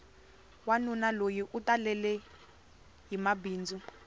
wanuna loyi u talelehi mabindzu